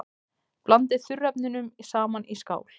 Blandið þurrefnunum saman í skál.